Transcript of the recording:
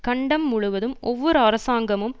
கண்டம் முழுவதும் ஒவ்வொரு அரசாங்கமும்